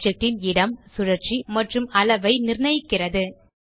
செயல் ஆப்ஜெக்ட் ன் இடம் சுழற்சி மற்றும் அளவை நிர்ணயிக்கிறது